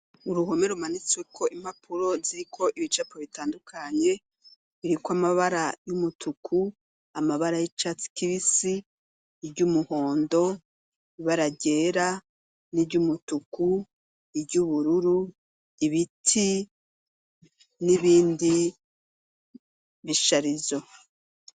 Uruhome rumanitsweko impapuro ziriko ibicapo bitandukanye biriko amabara y'umutuku, amabara y'icatsi kibisi, iry'umuhondo, ibara ryera n'iry'umutuku, iry'ubururu, ibiti n'ibindi bisharizo.